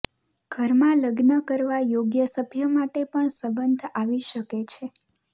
ઘરમાં લગ્ન કરવા યોગ્ય સભ્ય માટે પણ સંબંધ આવી શકે છે